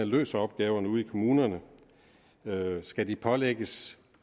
løser opgaverne ude i kommunerne skal de pålægges